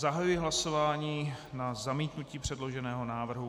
Zahajuji hlasování na zamítnutí předloženého návrhu.